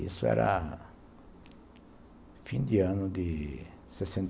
Isso era fim de ano de sessenta